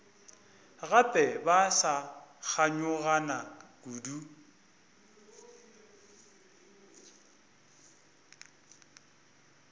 gape ba sa kganyogana kudu